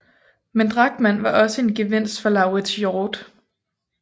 Men Drachmann var også en gevinst for Lauritz Hjort